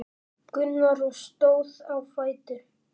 Gunnar og stóð á fætur.